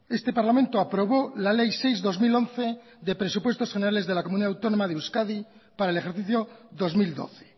este parlamento aprobó la ley seis barra dos mil once de presupuesto generales de la comunidad autónoma de euskadi para el ejercicio dos mil doce